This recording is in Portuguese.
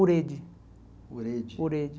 Urede. Urede Urede